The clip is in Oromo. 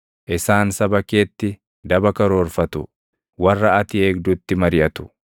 Isaan saba keetti daba karoorfatu; warra ati eegdutti mariʼatu.